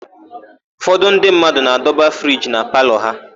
Ụfọdụ ndị mmadụ na-adọba friji na palọ ha.